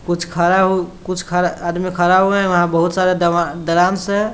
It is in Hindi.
कुछ खरा उ कुछ खरा आदमी खड़ा हुआ है| वह बोहोत सारा दराकस हैं।